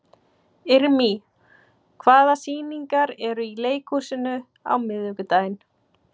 Irmý, hvaða sýningar eru í leikhúsinu á miðvikudaginn?